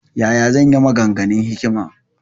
Ya ya zan yi maganganun hikima?